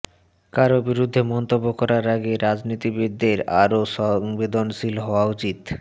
কারও বিরুদ্ধে মন্তব্য করার আগে রাজনীতিবিদদের আরও সংবেদনশীল হওয়া উচিত